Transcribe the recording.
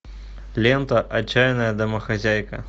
лента отчаянная домохозяйка